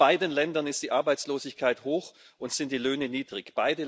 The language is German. In beiden Ländern ist die Arbeitslosigkeit hoch und sind die Löhne niedrig.